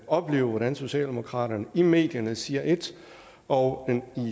opleve hvordan socialdemokratiet i medierne siger ét og